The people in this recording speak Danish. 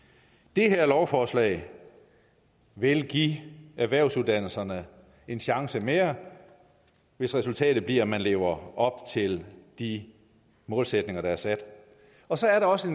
det her lovforslag vil give erhvervsuddannelserne en chance mere hvis resultatet bliver at man lever op til de målsætninger der er sat og så er der også